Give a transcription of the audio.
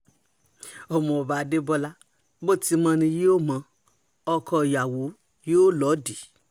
ọmọọba adébọla bó ti mọ ni yóò mọ ọ́ ọkọọyàwó yóò lòdìí